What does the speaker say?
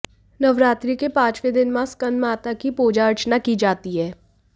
नवरात्रि के पांचवें दिन मां स्कंदमाता की पूजा अर्चना की जाती है